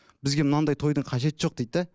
бізге мынандай тойдың қажеті жоқ дейді де